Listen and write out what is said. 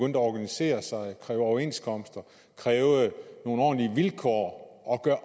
at organisere sig kræve overenskomster kræve nogle ordentlige vilkår og gøre